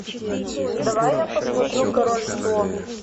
давай я посмотрю король слон